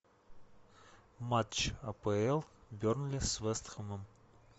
матч апл бернли с вест хэмом